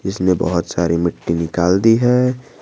इसने बहुत सारी मिट्टी निकाल दी है।